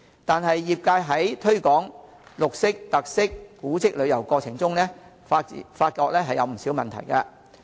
但是，業界在推廣綠色、特色、古蹟旅遊過程中，發覺有不少問題。